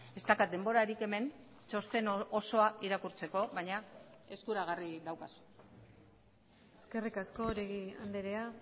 ez daukat denborarik hemen txosten osoa irakurtzeko baina eskuragarri daukazu eskerrik asko oregi andrea